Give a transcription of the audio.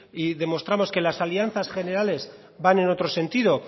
y demostramos que las alianzas generales van en otro sentido